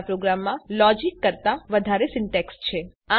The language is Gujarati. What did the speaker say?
આપણા પ્રોગ્રામમાં લોજીક કરતા વધારે સીન્ટેક્ષ છે